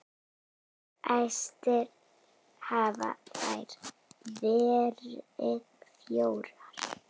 Fæstir hafa þeir verið fjórir.